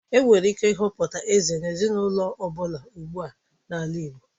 Enwere ike ịhọpụta eze n'ezinaụlọ ọ bụla ugbua n'ala igbo.